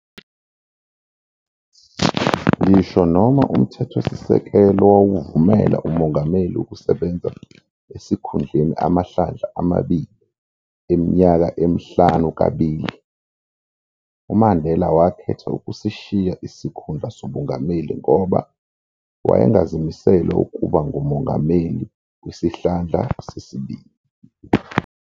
Ngisho noma umthethosisekelo wawuvumela umongameli ukusebenza esikhundleni amahlandla amabili eminyaka emihlanu kabili, uMandela wakhetha ukusishiya isikhundla sobungameli ngoba wayengazimisele ukuba ngumongameli kwisihlandla sesibili.